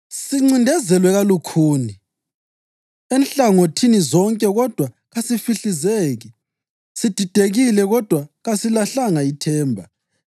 Sincindezelwe kalukhuni enhlangothini zonke kodwa kasifihlizeki; sididekile kodwa kasilahlanga ithemba;